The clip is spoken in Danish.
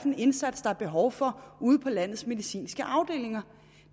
en indsats der er behov for ude på landets medicinske afdelinger